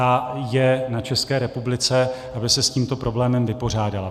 A je na České republice, aby se s tímto problémem vypořádala.